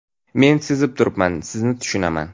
Men sezib turibman, sizni tushunaman.